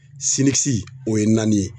o ye naani ye.